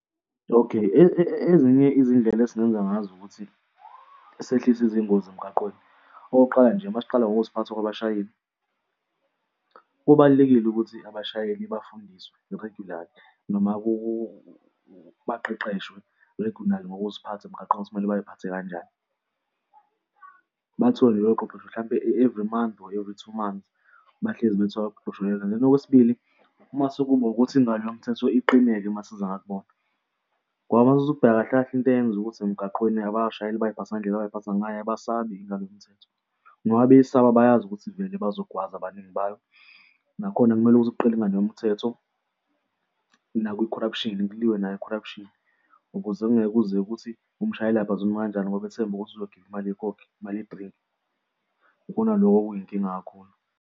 Okay, ezinye izindlela esingenza ngazo ukuthi sehlise izingozi emgaqweni. Okokuqala nje, masiqala ngokuziphatha kwabashayeli. Kubalulekile ukuthi abashayeli bafundiswe regularly noma baqeqeshwe regularly ngokuziphatha emgaqweni kumele bay'phathe kanjani? Bathole lelo qeqesho mhlawumpe everything month or every two months, bahlezi bethola ukuqeqeshekwa. Okwesibili, uma sekuba ukuthi ingalo yomthetho iqine-ke mase kuza ngakubona. Ngoba mothatha ukubheka kahle kahle into eyenza ukuthi emgaqweni abashayeli bay'phathe ngendlela abay'phatha ngayo abasasabi ingalo yomthetho, noma beyisaka bayazi ukuthi vele bazogwaza abaningi bayo. Nakhona kumele ukuthi kuqine ingalo yomthetho, nakwi-corruption kuliwe nayo i-corruption ukuze kungeke kuze kuthi umshayeli abhazulume kanjani ngoba ithemba ukuthi uzokhipha imali yekhokhi, imali yedrinki. Ikona lokho okuyinkinga kakhulu.